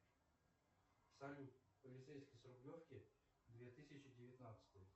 салют полицейский с рублевки две тысячи девятнадцатый